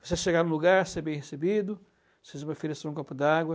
Você chegar no lugar, ser bem recebido, precisa me oferecer um copo d'água.